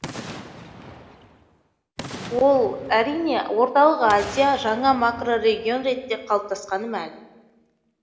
ол әрине орталық азия жаңа макрорегион ретінде қалыптасқаны мәлім